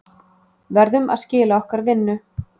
Verðum að skila okkar vinnu